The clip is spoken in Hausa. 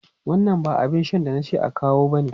Wannan ba abin shan da na ce a kawo bane!